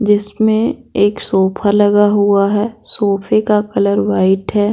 जिसमें एक सोफा लगा हुआ है सोफे का कलर वाइट है।